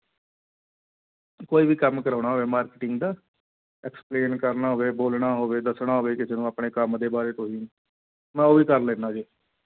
ਕੋਈ ਵੀ ਕੰਮ ਕਰਵਾਉਣਾ ਹੋਵੇ marketing ਦਾ explain ਕਰਨਾ ਹੋਵੇ, ਬੋਲਣਾ ਹੋਵੇ ਦੱਸਣਾ ਹੋਵੇ ਕਿਸੇ ਨੂੰ ਆਪਣੇ ਕੰਮ ਦੇ ਬਾਰੇ ਤੁਸੀਂ, ਮੈਂ ਉਹ ਵੀ ਕੰਮ ਲੈਂਨਾ ਜੀ।